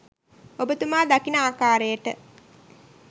ඔබතුමා දකින ආකාරයට